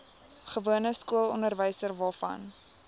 gewone skoolonderwys waarvan